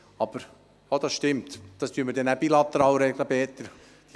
Ach so, das stimmt, das werden wir dann anschliessend bilateral regeln, Peter Flück!